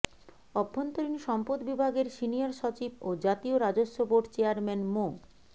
অভ্যন্তরীণ সম্পদ বিভাগের সিনিয়র সচিব ও জাতীয় রাজস্ব বোর্ড চেয়ারম্যান মো